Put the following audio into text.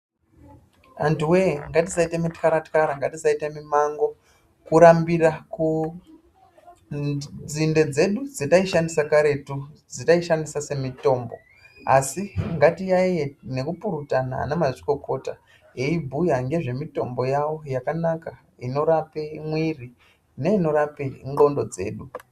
Antuwee ngatisaite mutyara tyara ngatisaite mimango kurambira kunzinde dzedu dzataishandisa karetu dzataishandisa semitombo asi ngatiyaiye nekupurutana ana mazvikokota aibhuya ngezvemitombo yavo inorapa mwiri neinorape ndxondo dzedu.